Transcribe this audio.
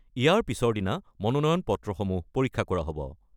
ইয়াৰ পিছৰ দিনা মনোনয়ন পত্ৰসমূহ পৰীক্ষা কৰা হ'ব।